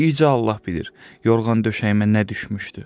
Bircə Allah bilir, yorğan döşəyimə nə düşmüşdü.